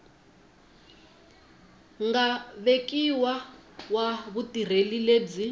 nga vekiwa wa vutirheli lebyi